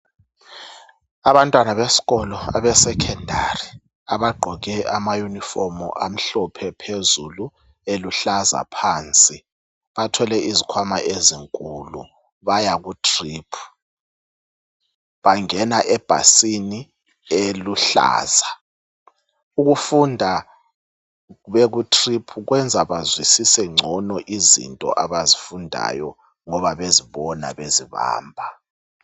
Abantwana besikolo abesecondary abagqoke amayunifomu amhlophe phezulu, eluhlaza phansi bathwele izikhwama ezinkulu bayakutrip. bangena ebhasini eluhlaza, ukufunda bekutrip kwenza bazwisise ngcono izinto abazifundayo ngoba bezibona bezibamba.